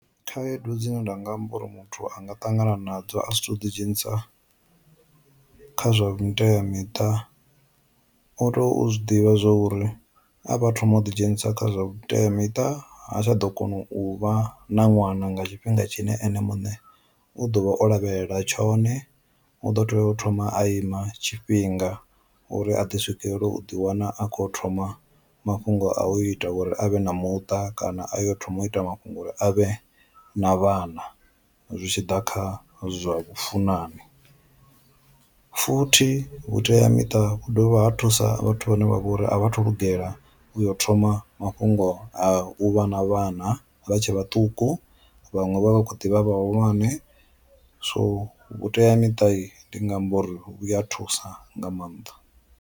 Khaedu dzine nda nga amba uri muthu anga tangana na dzo a si to ḓi dzhenisa kha zwa vhuteamiṱa, u to zwi ḓivha zwa uri a vha thoma u ḓi dzhenisa kha zwa vhuteamiṱa ha tsha ḓo kona u vha na ṅwana nga tshifhinga tshine ene muṋe u ḓovha o lavhelela tshone, u ḓo tea u thoma a ima tshifhinga uri a ḓi swikelele u ḓi wana a khou thoma mafhungo a u ita uri avhe na muṱa kana a yo thoma u ita mafhungo uri avhe na vhana zwitshiḓa kha zwa funani. Futhi vhuteamita vhu dovha ha thusa vhathu vhane vha vha uri a vhathu lugela u yo thoma mafhungo a u vha na vhana vha tshe vhaṱuku vhaṅwe vha vha kho ḓivha vhahulwane, so vhuteamiṱa ndi nga amba uri vhu a thusa nga maanḓa.